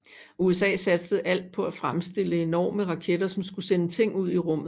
USA satsede alt på at fremstille enorme raketter som skulle sende ting ud i rummet